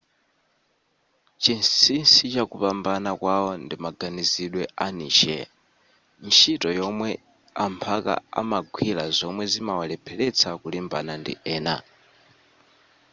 chinsinsi chakupambana kwawo ndimaganizidwe a niche ntchito yomwe amphaka amagwira zomwe zimawalepheletsa kulimbana ndi ena